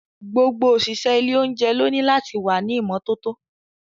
Gbogbo òṣìṣẹ́ ilé oúnjẹ lóní láti wà ní ìmọ́tótó.